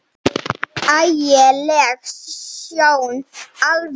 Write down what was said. Ægi leg sjón alveg.